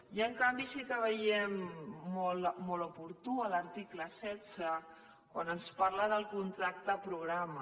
i en canvi sí que veiem molt oportú l’article setze quan ens parla del contracte programa